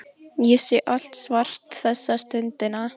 Ég sé allt svart þessa stundina.